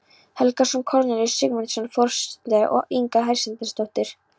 Helgason, Kornelíus Sigmundsson forsetaritari og Inga Hersteinsdóttir